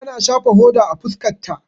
Ta na shafa hoda a fuskar ta.